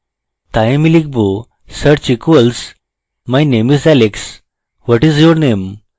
my my লিখব search equals my name is alex what is your name